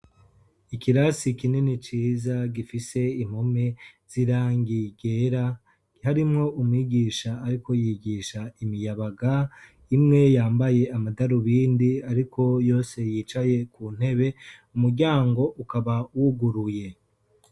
Ikirasi kinini ciza gifise impome z'irangi ryera harimwo umwigisha ariko yigisha imiyabaga imwe yambaye amatarubindi ariko yose yicaye ku ntebe umuryango ukaba wuguruye.